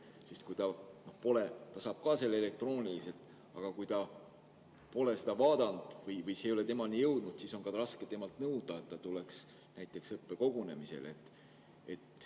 Sest kui ta saab teate elektrooniliselt, aga pole seda vaadanud või see ei ole temani jõudnud, siis on raske temalt nõuda, et ta tuleks näiteks õppekogunemisele.